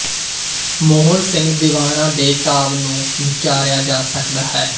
ਮੋਹਨ ਸਿੰਘ ਦੀਵਾਨਾ ਦੇ ਕਾਵਿ ਨੂੰ ਵਿਚਾਰਿਆ ਜਾ ਸਕਦਾ ਹੈ